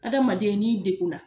Hadamaden n'i degunna,